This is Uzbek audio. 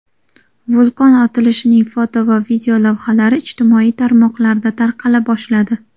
Vulqon otilishining foto va videolavhalari ijtimoiy tarmoqlarda tarqala boshladi.